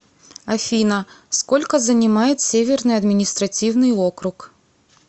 афина сколько занимает северный административный округ